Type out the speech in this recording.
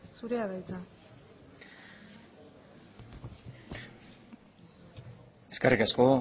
zurea da hitza eskerrik asko